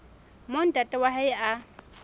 moo ntate wa hae a